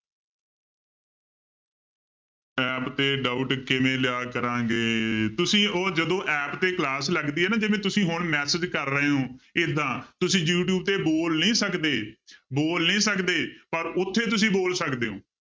App ਤੇ doubt ਕਿਵੇਂ ਜਾਹਰ ਕਰਾਂਗਾ, ਤੁਸੀਂ ਉਹ ਜਦੋਂ app ਤੇ class ਲੱਗਦੀ ਹੈ ਨਾ ਜਿਵੇਂ ਤੁਸੀਂ ਹੁੁਣ message ਕਰ ਰਹੇ ਹੋ ਏਦਾਂ ਤੁਸੀਂ ਯੂ ਟਿਊਬ ਤੇ ਬੋਲ ਨਹੀਂ ਸਕਦੇ ਬੋਲ ਨਹੀਂ ਸਕਦੇ ਪਰ ਉੱਥੇ ਤੁਸੀਂ ਬੋਲ ਸਕਦੇ ਹੋ।